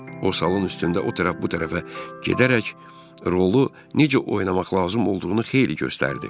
O, salon üstündə o tərəf bu tərəfə gedərək, rolu necə oynamaq lazım olduğunu xeyli göstərdi.